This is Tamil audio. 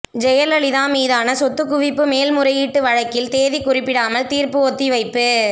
ஜெயலலிதா மீதான சொத்துக்குவிப்பு மேல் முறையீட்டு வழக்கில் தேதி குறிப்பிடாமல் தீர்ப்பு ஒத்திவைப்பு